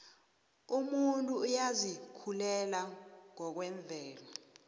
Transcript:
umuntu uyazikhulela ngokwemvelo